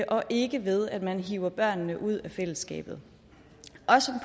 og ikke ved at man hiver børnene ud af fællesskabet